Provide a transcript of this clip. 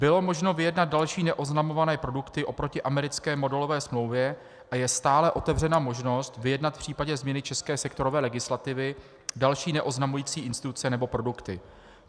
Bylo možno vyjednat další neoznamované produkty oproti americké modelové smlouvě a je stále otevřena možnost vyjednat v případě změny české sektorové legislativy další neoznamující instituce nebo produkty.